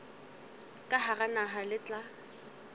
ka hara naha le tla